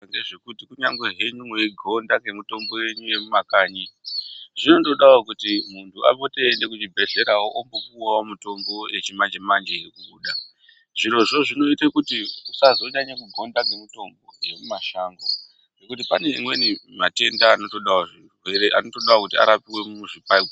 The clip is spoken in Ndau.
Ngezvekuti kunyangwe henyu mweigonda ngemutombo yenyu yemumakanyi zvinondodawo kuti muntu apote eienda kuzvibhedhlera ombopuwawo mitombo yachimanje manje irikubuda zvirozvo zvinoita kuti usazonyanya kugonda ngemutombo yemumashango ngekuti pane mamweni matenda anotodawo kuti arapirwe muzvibhedhlera.